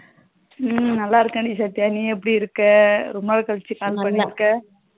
உம் நல்லா இருக்கேண்டி சத்யா. நீ எப்டி இருக்க ரொம்ப நாள் கலுச்சி கால் பண்ணிருக்கா